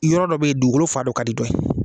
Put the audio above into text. Yɔrɔ dɔ bɛ yen, dugukolo fan dɔ ka di dɔ ye